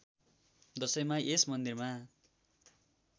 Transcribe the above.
दशैँमा यस मन्दिरमा